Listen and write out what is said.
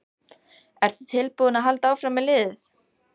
Ertu tilbúinn að halda áfram með liðið?